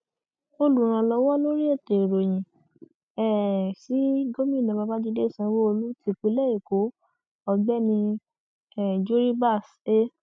olùrànlọwọ lórí ètò ìròyìn um sí gómìnà babàjídé sanwóolu tipinlé ẹkọ ọgbẹni um juribas e